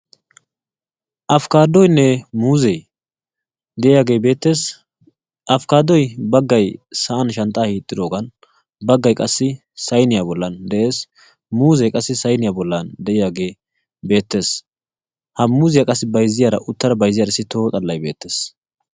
Afkaadoynne muzee de'iyaagee beettees. Afkaaduwaappe baggay sa'an shanxxaa hiixxidoogan bagay qassi saynniya bollan de'ees. Muuzzee qassi saynniya bollan de'iyagee beetees. Ha muuzziya qassi uttada bayzziyaarissi toho xallay beettees.